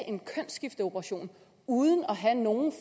en kønsskifteoperation uden at have nogen